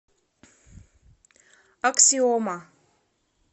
аксиома